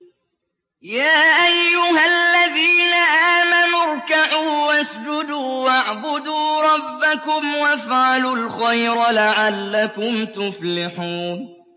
يَا أَيُّهَا الَّذِينَ آمَنُوا ارْكَعُوا وَاسْجُدُوا وَاعْبُدُوا رَبَّكُمْ وَافْعَلُوا الْخَيْرَ لَعَلَّكُمْ تُفْلِحُونَ ۩